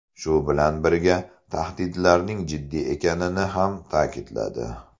Shu bilan birga, tahdidlarning jiddiy ekanini ham ta’kidladi.